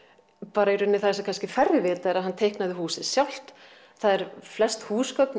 bara í raun það sem kannski færri vita að hann teiknaði húsið sjálft það eru flest húsgögn